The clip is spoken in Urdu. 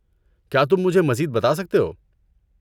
کیا تم مجھے مزید بتا سکتے ہو؟